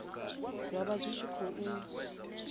zwa vha zwi tshi khou